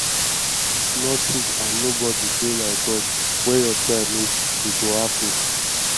nothing and nobody dey like god wen your time reach e go happen